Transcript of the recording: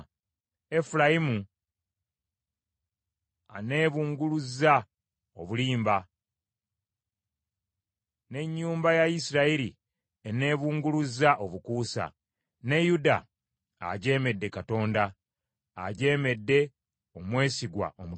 Efulayimu aneebunguluzza obulimba, n’ennyumba ya Isirayiri eneebunguluzza obukuusa, ne Yuda ajeemedde Katonda, ajeemedde omwesigwa Omutukuvu.